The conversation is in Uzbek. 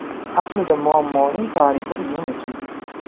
Aslida muammoning tarixi uzun ekan.